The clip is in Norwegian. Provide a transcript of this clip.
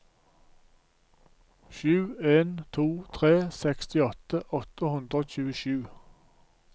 sju en to tre sekstiåtte åtte hundre og tjuesju